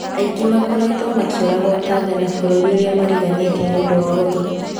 Aingĩ makoretwo makiũragwo Tanga na bũrũri ũrĩa mariganĩtie nĩũndũ wa ũrogi.